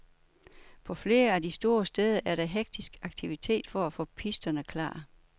På flere af de store steder er der hektisk aktivitet for at få pisterne klar.